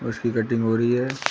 इसकी कटिंग हो रही है।